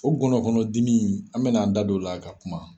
O gɔnɔkɔnn dimi , an bɛna an da don o la ka kuma.